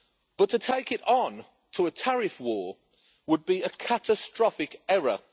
But to take it on to a tariff war would be a catastrophic error.